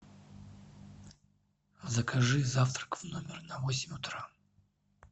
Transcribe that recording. закажи завтрак в номер на восемь утра